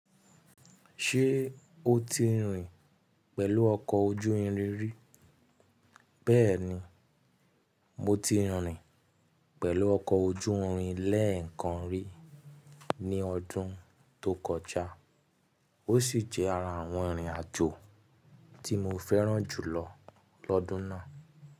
Ṣé o ti rìn pẹ̀lú ọkọ̀ ojú irin rí? Bẹ́ẹ̀ni, mo ti rìn pẹ̀lú ọkọ̀ ojú irin lẹ́ẹ̀kan rí ní ọdún tó kọjá, ó sì jẹ́ ara àwọn ìrìnàjò tí mo fẹ́ràn jùlọ lọ́dún náà.